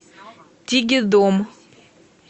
тигидом